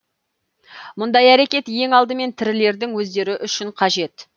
мұндай әрекет ең алдымен тірілердің өздері үшін қажет